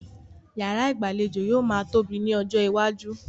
Yàrá ìgbàlejò yóò máa tóbi ní ọjọ́ iwájú.